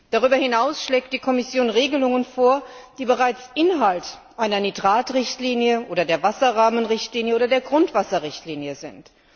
Darüber hinaus schlägt die Kommission Regelungen vor, die bereits Inhalt einer Nitratrichtlinie oder der Wasserrahmenrichtlinie oder der Grundwasserrichtlinie sind.